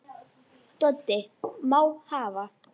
Doddi: Má hafa